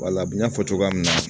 Wala bɛ n y'a fɔ cogoya min na